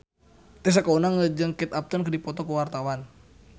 Tessa Kaunang jeung Kate Upton keur dipoto ku wartawan